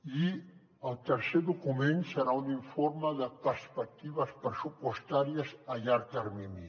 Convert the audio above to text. i el tercer document serà un informe de perspectives pressupostàries a llarg termini